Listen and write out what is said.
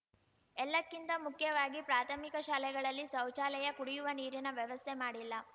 ಎಲ್ಲಕ್ಕಿಂತ ಮುಖ್ಯವಾಗಿ ಪ್ರಾಥಮಿಕ ಶಾಲೆಗಳಲ್ಲಿ ಶೌಚಾಲಯ ಕುಡಿಯುವ ನೀರಿನ ವ್ಯವಸ್ಥೆ ಮಾಡಿಲ್ಲ